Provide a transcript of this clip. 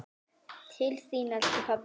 Til þín, elsku pabbi.